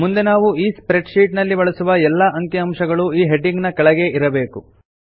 ಮುಂದೆ ನಾವು ಈ ಸ್ಪ್ರೆಡ್ ಶೀಟ್ ನಲ್ಲಿ ಬಳಸುವ ಎಲ್ಲಾ ಅಂಕಿ ಅಂಶಗಳು ಈ ಹೆಡಿಂಗ್ ನ ಕೆಳಗೇ ಬರಬೇಕು